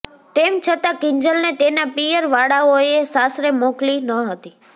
તેમ છતાં કિંજલને તેના પિયર વાળાઓએ સાસરે મોકલી ન હતી